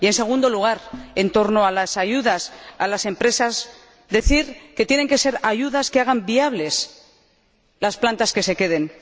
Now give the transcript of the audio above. Y, en segundo lugar, en lo referente a las ayudas a las empresas, quiero decir que tienen que ser ayudas que hagan viables las plantas que se queden.